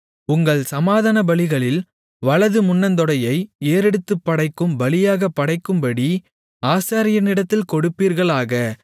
உங்கள் சமாதானபலிகளில் வலது முன்னந்தொடையை ஏறெடுத்துப்படைக்கும் பலியாகப் படைக்கும்படி ஆசாரியனிடத்தில் கொடுப்பீர்களாக